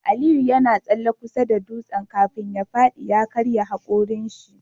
Aliyu yana tsalle kusa da dutsen kafin ya fadi ya karya hakorin shi